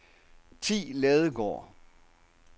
Thi Ladegaard